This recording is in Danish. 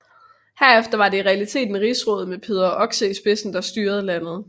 Herefter var det i realiteten Rigsrådet med Peder Oxe i spidsen der styrede landet